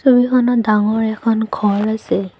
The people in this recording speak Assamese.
ছবিখনত ডাঙৰ এখন ঘৰ আছে।